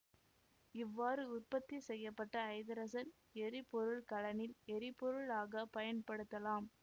இவ்வாறு உற்பத்தி செய்ய பட்ட ஐதரசன் எரிபொருள் கலனில் எரிபொருளாக பயன்படுத்தலாம்